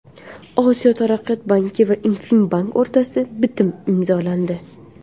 Osiyo taraqqiyot banki va InFin Bank o‘rtasida bitim imzolandi.